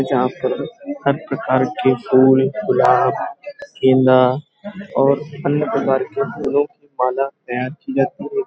जहाँ पर हर प्रकार के फूल गुलाब गेंदा और अन्य प्रकार के फूलों की माला तैयार की जाती हैं।